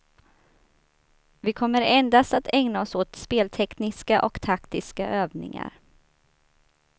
Vi kommer endast att ägna oss åt speltekniska och taktiska övningar.